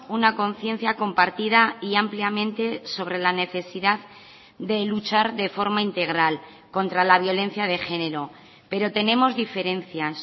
una conciencia compartida y ampliamente sobre la necesidad de luchar de forma integral contra la violencia de género pero tenemos diferencias